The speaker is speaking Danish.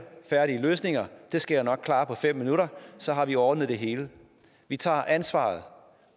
færdige løsninger jeg skal nok klare det på fem minutter så har vi ordnet det hele vi tager et ansvar